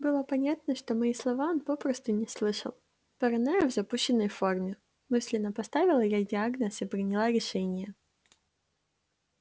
было понятно что мои слова он попросту не слышал паранойя в запущенной форме мысленно поставила я диагноз и приняла решение